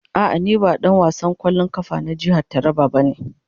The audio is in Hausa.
A'a, ni ba dan wasan kwallon kafa na jihar Taraba bane.